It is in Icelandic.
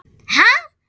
Ha?!